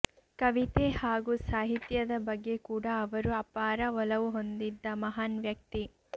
ಕವಿತೆ ಹಾಗೂ ಸಾಹಿತ್ಯದ ಬಗ್ಗೆ ಕೂಡಾ ಅವರು ಅಪಾರ ಒಲವು ಹೊಂದಿದ್ದ ಮಹಾನ್ ವ್ಯಕ್ತಿ